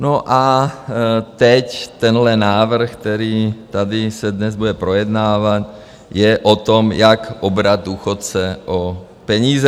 No, a teď tenhle návrh, který tady se dnes bude projednávat, je o tom, jak obrat důchodce o peníze.